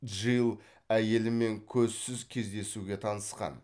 джилл әйелімен көзсіз кездесуге танысқан